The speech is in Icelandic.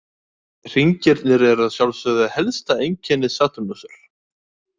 Hringirnir eru að sjálfsögðu helsta einkenni Satúrnusar.